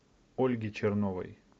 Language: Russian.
ольги черновой